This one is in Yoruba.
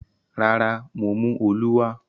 Rárá, mo mú “olú” wá.